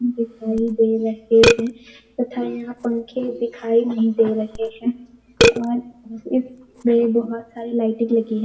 दिखाई दे रहे हैं तथा यहां पंखे दिखाई नहीं दे रहे हैं और इसमें बहुत सारी लाइटिंग लगी है